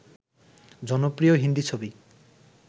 জনপ্রিয় হিন্দি ছবি